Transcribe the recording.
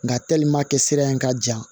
Nga sira in ka jan